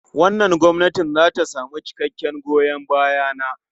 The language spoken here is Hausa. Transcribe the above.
Wannan gwamnati za ta samu cikakken goyon baya na.